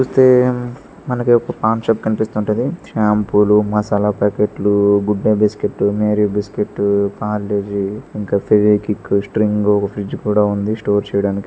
Same ఒక paan shop కనిపిస్తుంటది షాంపూలు మసాలా ప్యాకెట్లు Good Day biscuits Marie biscuits Parle G ఇంకా ఫెవిక్విక స్ట్రింగ్ ఒక ఫ్రిడ్జ్ కూడా ఉంది స్టోర్ చెయ్యడానికి.